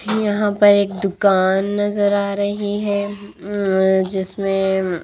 यहाँ पर एक दुकान नजर आ रही है अ जिसमें--